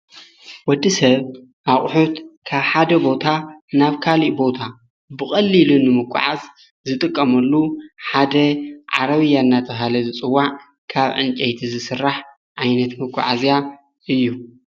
ወዲ ሰብ ኣቕሑት ካ ሓደ ቦታ ናብ ካልእ ቦታ ብቕሊኢሉ ንምቋዓዝ ዝጥቀመሉ ሓደ ዓረብ እያናተሃለ ዝጽዋዕ ካብ እንጨይቲ ዝሥራሕ ኣይነት መጓዓዝያ እዩ።